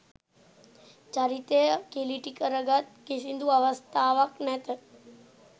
චරිතය කිළිටි කර ගත් කිසිදු අවස්ථාවක් නැත.